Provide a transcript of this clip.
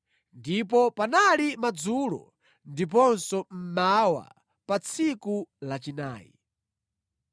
Ndipo panali madzulo ndiponso mmawa pa tsiku lachinayi.